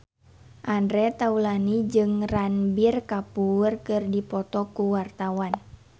Andre Taulany jeung Ranbir Kapoor keur dipoto ku wartawan